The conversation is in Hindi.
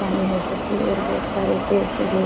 पानी हो सके और बहोत सारे पेड़-पौधे --